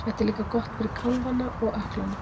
Þetta er líka gott fyrir kálfana og ökklana.